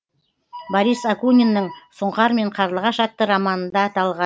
борис акуниннің сұңқар мен қарлығаш атты романында аталған